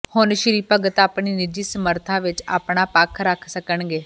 ਹੁਣ ਸ੍ਰੀ ਭਗਤ ਆਪਣੀ ਨਿੱਜੀ ਸਮਰੱਥਾ ਵਿੱਚ ਆਪਣਾ ਪੱਖ ਰੱਖ ਸਕਣਗੇ